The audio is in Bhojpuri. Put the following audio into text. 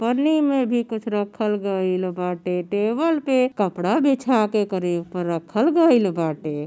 पन्नी में भी कुछ रखल गइल बाटे। टेबल पे कपड़ा बिछा के करे ऊपर रखल गइल बाटे।